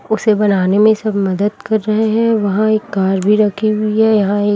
उसे बनाने में सब मदद कर रहे हैं वहां एक कर भी रखी हुई है यहां एक--